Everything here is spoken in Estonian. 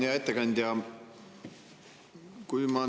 Hea ettekandja!